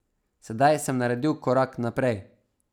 Sedaj sem naredil korak naprej.